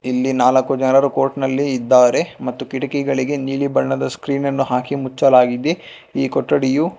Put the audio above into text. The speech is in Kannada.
ಇಲ್ಲಿ ನಾಲ್ಕು ಜನರು ಕೋರ್ಟ್ ನಲ್ಲಿ ಇದ್ದಾರೆ ಮತ್ತು ಕಿಟಕಿಗಳಿಗೆ ನೀಲಿ ಬಣ್ಣದ ಸ್ಕ್ರೀನ್ ಅನ್ನು ಹಾಕಿ ಮುಚ್ಚಲಾಗಿದೆ ಈ ಕೊಠಡಿಯು--